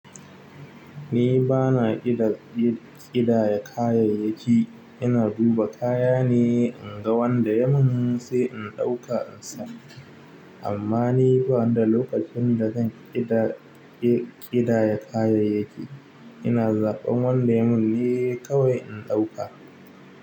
Ni bana iya ƙi-ƙidaya kayayyaki. Ina duba kaya ne, in ga wanda ya mun sai in ɗauka in sa. Amman ni banida lokacin da zan ƙidaya kayayyaki ina zuɓan wanda yai manne in ɗauka.